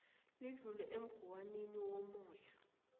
lidlule emguwnini womoya